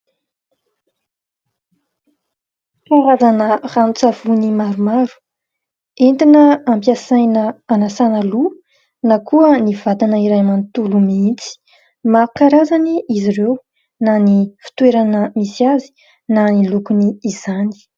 Karazana ranon-tsavony maromaro entina ampiasaina hanasana loha, na koa ny vatana iray manontolo mihitsy. Maro karazana izy ireo, na ny fitoerana misy azy, na ny lokony izany.